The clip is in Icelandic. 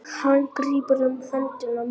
Hann grípur um hönd mína.